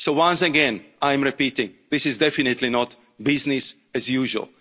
for the future. So, once again, I repeat, this is definitely not business